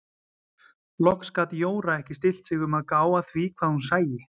Loks gat Jóra ekki stillt sig um að gá að því hvað hún sæi.